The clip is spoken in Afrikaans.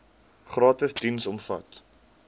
gratis diens omvat